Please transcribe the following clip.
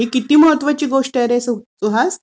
ही किती महत्वाची गोष्ट आहे रे सुहास!